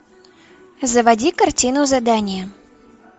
заводи картину задание